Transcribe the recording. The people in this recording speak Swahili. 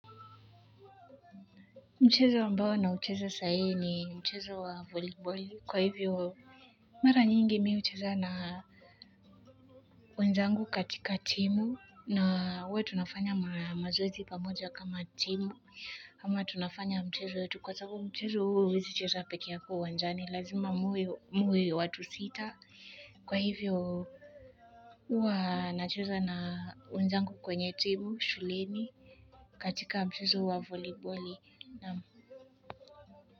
Mchezo ambao naucheza saa hii ni mchezo wa voliboli kwa hivyo mara nyingi mi hucheza na wenzangu katika timu na huwa tunafanya mazoezi pamoja kama timu ama tunafanya mchezo wetu kwa sababu mchezo huo huwezi cheza pekee yako uwanjani lazima muwe watu sita kwa hivyo huwa nacheza na wenzangu kwenye timu shuleni katika mchezo wa voliboli naam.